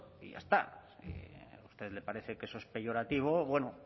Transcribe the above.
y ya está si a usted le parece que eso es peyorativo bueno